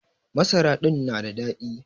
Masara din na da daɗi.